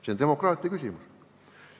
See on demokraatia küsimus.